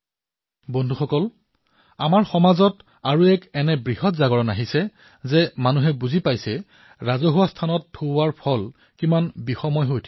বন্ধুসকল আমাৰ সমাজলৈ আন এক বৃহৎ সজাগতা এয়া আহিছে যে এতিয়া সকলো লোকে বুজা হৈ গৈছে যে ৰাজহুৱা স্থানত থু পেলোৱাটো ক্ষতিকাৰক হব পাৰে